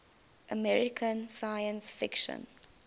american science fiction